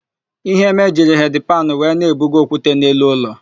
Iheme jiri hedi panụ wee na-ebugo okwute n'elu ụlọ.